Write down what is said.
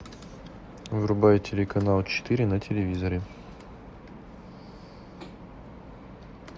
врубай телеканал четыре на телевизоре